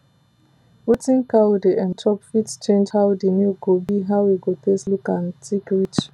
wetin cow dey um chop fit change how the milk go be how e go taste look and thick reach